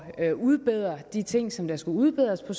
at udbedre de ting som der skulle udbedres på